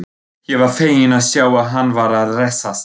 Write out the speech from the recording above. Ég var feginn að sjá að hann var að hressast!